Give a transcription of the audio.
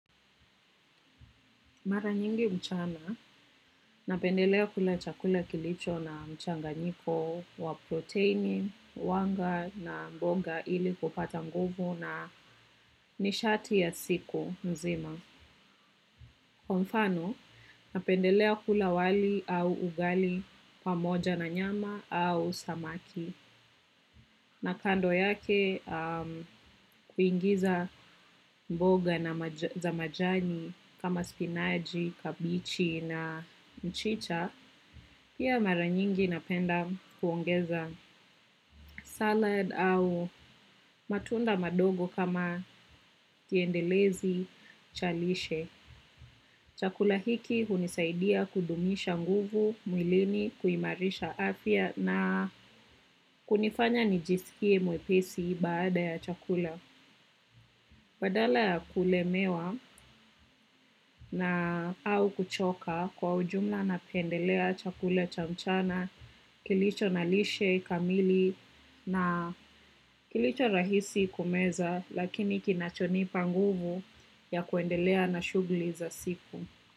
Mara nyingi mchana, napendelea kula chakula kilicho na mchanganyiko wa proteini, wanga na mbonga ili kupata nguvu na nishati ya siku mzima. Kwa mfano, napendelea kula wali au ugali pamoja na nyama au samaki. Na kando yake kuingiza mboga na zamajani kama spinachi, kabichi na mchicha, pia mara nyingi napenda kuongeza salad au matunda madogo kama kiendelezi cha lishe. Chakula hiki hunisaidia kudumisha nguvu, mwilini, kuimarisha afya na kunifanya nijisikie mwepesi baada ya chakula. Badala ya ku lemewa na au kuchoka kwa ujumla napendelea chakula cha mchana kilicho na lishe, kamili na kilicho rahisi kumeza lakini kina chonipa nguvu ya kuendelea na shughuli za siku.